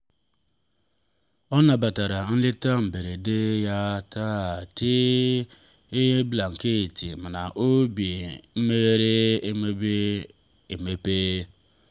ọ nabatara nleta mberede ya na tii blanketi na obi meghere emepe. emepe.